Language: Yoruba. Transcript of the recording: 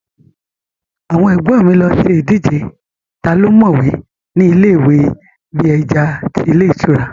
Àwọn ẹ̀gbọ́n mi lọ ṣe ìdíje taa ló mọ̀ọ́wẹ̀ ni ilé ìwẹ̀ bí ẹja tí ilé ìtura